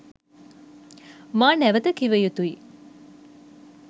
මා නැවත කිව යුතුයි.